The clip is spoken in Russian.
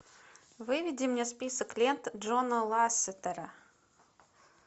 выведи мне список лента джона лассетера